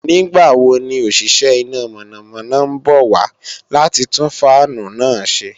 Nígbàwo ni òṣìṣẹ́ iná mọ̀nàmọ́ná ń bọ̀ wá láti tún fáànù náà ṣe